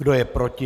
Kdo je proti?